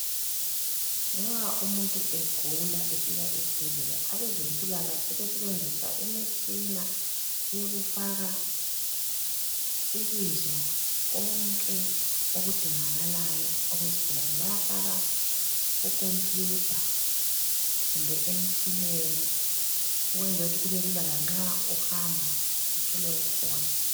Nxa umuntu egula efika esibhedlela, abezempilakahle sebesebenzisa imitshina ukufaka ibizo lakho konke okudingakalayo mayelana lesigulane. Bayafak kukhompiyutha kumbe emtshineni ukwenzela ukuthi kubelula lanxa uhamba uthole kukhona.